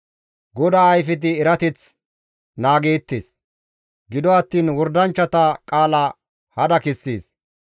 GODAA ayfeti erateth naagettees; gido attiin wordanchchata qaala hada kessees.